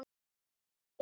Þekki hann.